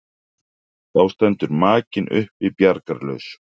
Þá stendur makinn uppi bjargarlaus.